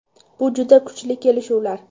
Bu juda kuchli kelishuvlar.